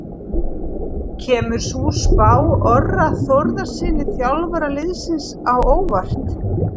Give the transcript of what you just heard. Kemur sú spá Orra Þórðarsyni, þjálfara liðsins, á óvart?